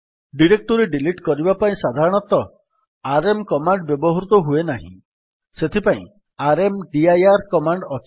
directory delete କରିବା ପାଇଁ ସାଧାରଣତଃ ଆରଏମ୍ କମାଣ୍ଡ୍ ବ୍ୟବହୃତ ହୁଏ ନାହିଁ ସେଥିପାଇଁ ର୍ମଦିର କମାଣ୍ଡ୍ ଅଛି